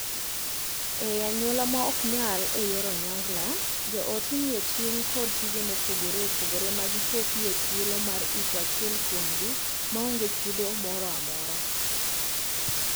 Ei anyuola ma ok nyal e yor onyongla, joot imiyo ting' kod tije mopogore ma gichopo e thuolo mar iko achiel kuomgi ma onge chudo moro amora.